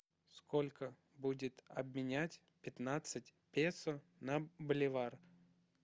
сколько будет обменять пятнадцать песо на боливар